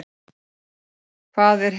Hvað er hel?